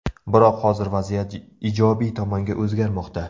Biroq hozir vaziyat ijobiy tomonga o‘zgarmoqda.